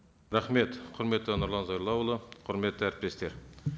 рахмет құрметті нұрлан зайроллаұлы құрметті әріптестер